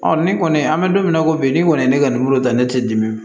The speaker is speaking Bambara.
ni kɔni an bɛ don min na i ko bi n'i kɔni ye ne ka ta ne tɛ dimi